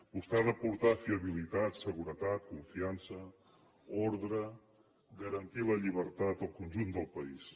vostè ha d’aportar fiabilitat se·guretat confiança ordre garantir la llibertat al conjunt del país